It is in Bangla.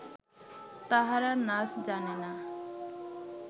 তাহারা নাজ জানে না